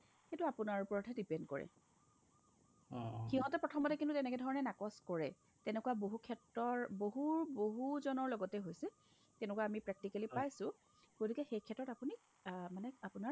সেইটো আপোনাৰ ওপৰতহে depend কৰে সিহতে প্ৰথমতে কিন্তু এনেধৰণে নাকচ কৰে তেনেকুৱা বহুক্ষেত্ৰৰ বহুৰ বহুজনৰ লগতে হৈছে তেনেকুৱা আমি practically পাইছো গতিকে সেইক্ষেত্ৰত আপুনি অহ্ মানে আপোনাৰ